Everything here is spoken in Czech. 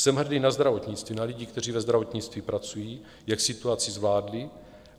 Jsem hrdý na zdravotnictví, na lidi, kteří ve zdravotnictví pracují, jak situaci zvládli.